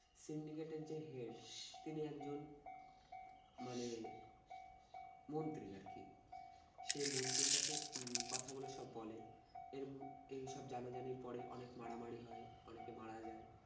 syndicate এর যে head তিনি একজন মানে মন্ত্রী আর কি। সে মন্ত্রীর কাছে উম কথা বলে সব বলে এম এইসব জানাজানির পরে অনেক মারামারি হয় অনেকে মারা যায়।